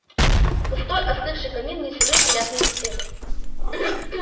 пустой остывший камин не сулил приятной беседы